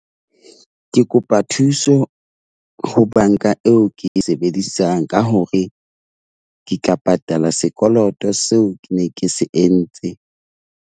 Ke kopa thuso ho banka eo ke e sebedisang ka hore ke tla patala sekoloto seo ke ne ke se entse.